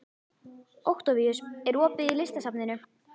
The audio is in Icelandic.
Októvíus, er opið í Listasafninu?